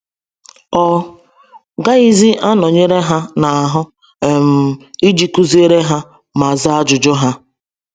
Ọ gaghịzi anọnyere ha n’ahụ um iji kụziere ha ma zaa ajụjụ ha.